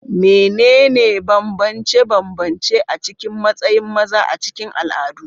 Menene bambance-bambance a cikin matsayin maza a cikin al'adu?